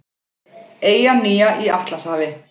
Eyjan nýja í Atlantshafi.